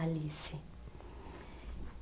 Alice.